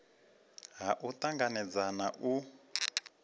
ha u tanganedza na u